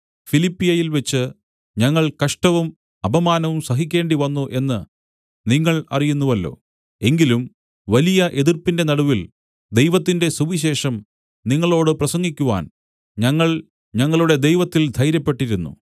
ഫിലിപ്പിയിൽവച്ച് ഞങ്ങൾ കഷ്ടവും അപമാനവും സഹിക്കേണ്ടിവന്നു എന്നു നിങ്ങൾ അറിയുന്നുവല്ലോ എങ്കിലും വലിയ എതിർപ്പിന്റെ നടുവിൽ ദൈവത്തിന്റെ സുവിശേഷം നിങ്ങളോടു പ്രസംഗിക്കുവാൻ ഞങ്ങൾ ഞങ്ങളുടെ ദൈവത്തിൽ ധൈര്യപ്പെട്ടിരുന്നു